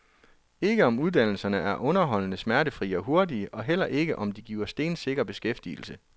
Ikke, om uddannelserne er underholdende, smertefrie og hurtige, og heller ikke, om de giver stensikker beskæftigelse.